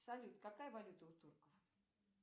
салют какая валюта у турков